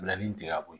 Bila nin digɛna ko